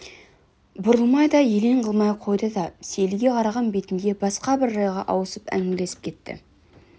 бұрылмай да елең қылмай қойды да сейілге қараған бетінде басқа бір жайға ауысып әңгімелесіп кетті